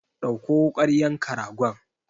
Ɗauko wukar yanka ragon!